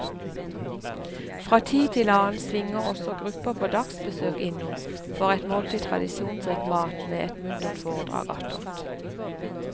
Fra tid til annen svinger også grupper på dagsbesøk innom for et måltid tradisjonsrik mat med et muntert foredrag attåt.